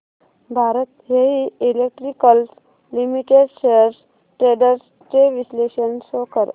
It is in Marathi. Bharat heavy electricals limited shares trends चे विश्लेषण शो कर